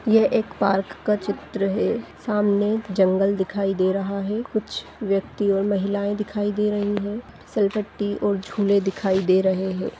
यह एक पार्क का चित्र है सामने एक जंगल दिखाई दे रहा है कुछ व्यक्ति और महिलाएं दिखाई दे रही है फिसल पट्टी और झूले दिखाई दे रहे है।